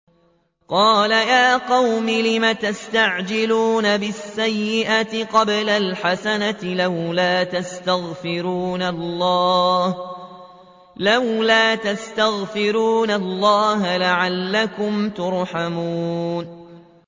قَالَ يَا قَوْمِ لِمَ تَسْتَعْجِلُونَ بِالسَّيِّئَةِ قَبْلَ الْحَسَنَةِ ۖ لَوْلَا تَسْتَغْفِرُونَ اللَّهَ لَعَلَّكُمْ تُرْحَمُونَ